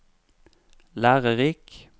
lærerik